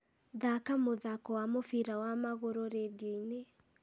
thaaka mũthaako wa mũbira wa magũrũ rĩndiũ-inĩ